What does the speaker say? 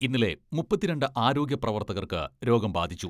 ഇന്നലെ മുപ്പത്തിരണ്ട് ആരോഗ്യപ്രവർത്തകർക്ക് രോഗം ബാധിച്ചു.